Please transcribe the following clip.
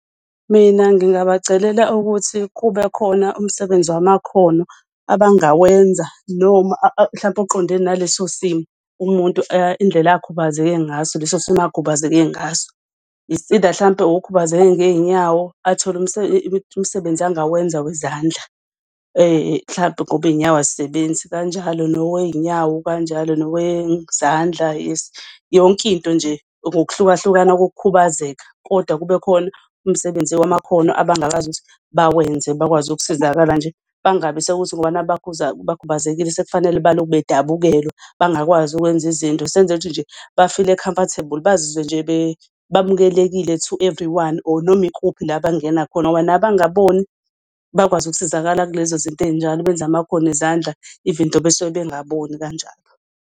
Mina ngingabacelela ukuthi kube khona umsebenzi wamakhono abangawenza noma mhlampe oqondene naleso simo umuntu indlela akhubazeke ngaso leso simo akhubazeke ngaso. It's either mhlampe okhubazeke ngey'nyawo athole umsebenzi angawenza wezandla mhlampe ngoba iy'nyawo azisebenzi. Kanjalo nowey'nyawo kanjalo nowezandla yes yonkinto nje ngokuhlukahlukana kokukhubazeka. Kodwa kube khona umsebenzi wamakhono abangakwazi ukuthi bawenze bakwazi ukusizakala nje. Bangabi sekuthi ngoba naku bakhubazekile sekufanele balokhu bedabukelwa, bangakwazi ukwenza izinto. Senzele ukuthi nje bafile comfortable bazizwe nje bamukelekile to everyone, or noma ikuphi la abangena khona ngoba nabangaboni bakwazi ukusizakala kulezo izinto ey'njalo. Benze amakhono ezandla, even though besuke bengaboni kanjalo.